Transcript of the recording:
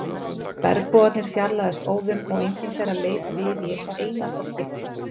Bergbúarnir fjarlægðust óðum og enginn þeirra leit við í eitt einasta skipti.